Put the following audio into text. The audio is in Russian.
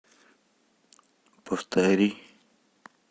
повтори